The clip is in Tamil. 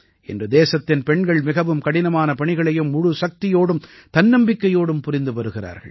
இன்று தேசத்தின் பெண்கள் மிகவும் கடினமான பணிகளையும் முழுச்சக்தியோடும் தன்னம்பிக்கையோடும் புரிந்து வருகிறார்கள்